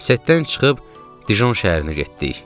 Settdən çıxıb Dijon şəhərinə getdik.